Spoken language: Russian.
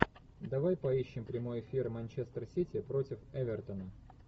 давай поищем прямой эфир манчестер сити против эвертона